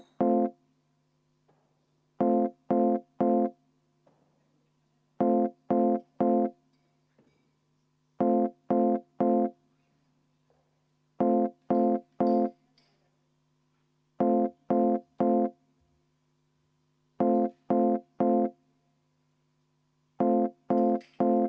Sealt saali poolelt saab vaheaega küsida ainult fraktsiooni esimees või aseesimees, aga siitpoolt istungi juhataja.